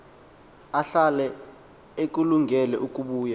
ahlale ekulungele ukubuya